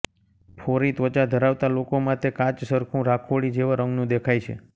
ફોરી ત્વચા ધરાવતા લોકોમાં તે કાચસરખું રાખોડી જેવા રંગનું દેખાય છે